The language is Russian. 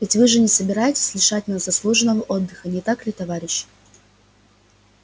ведь вы же не собираетесь лишать нас заслуженного отдыха не так ли товарищи